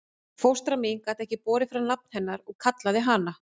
Fóstra mín gat ekki borið fram nafn hennar og kallaði hana